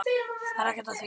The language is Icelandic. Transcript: Það er ekkert að því.